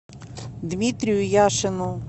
дмитрию яшину